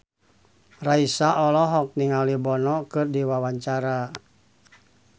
Raisa olohok ningali Bono keur diwawancara